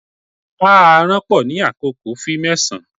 A aranpo ni akoko, fi mẹsan